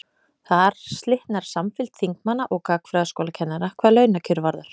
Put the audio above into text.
Þar slitnar samfylgd þingmanna og gagnfræðaskólakennara hvað launakjör varðar.